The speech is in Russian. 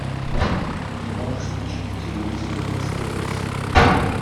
ты можешь включить на телевизоре стс